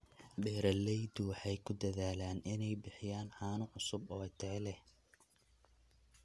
Beeraleydu waxay ku dadaalaan inay bixiyaan caano cusub oo tayo leh.